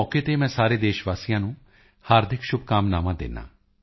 ਸੰਸਕ੍ਰਿਤ ਸਪਤਾਹ ਦੇ ਮੌਕੇ ਤੇ ਮੈਂ ਸਾਰੇ ਦੇਸ਼ ਵਾਸੀਆਂ ਨੂੰ ਹਾਰਦਿਕ ਸ਼ੁਭਕਾਮਨਾਵਾਂ ਦਿੰਦਾ ਹਾਂ